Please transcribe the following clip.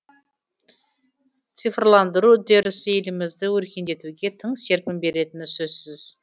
цифрландыру үдерісі елімізді өркендетуге тың серпін беретіні сөзсіз